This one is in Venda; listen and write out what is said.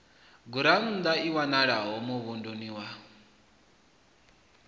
gurannḓa i wanalaho muvhunduni wa